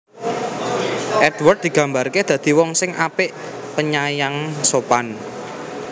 Édward digambarké dadi wong sing apik penyayang sopan